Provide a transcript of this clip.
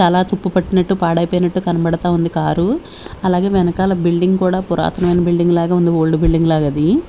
చాలా తుప్పు పట్టినట్టు పాడైపోయినట్టు కనబడతా ఉంది కారు అలాగే వెనుకాల బిల్డింగ్ కూడా పురాతనమైన బిల్డింగ్ లాగే ఉంది ఓల్డ్ బిల్డింగ్ లాగా అది.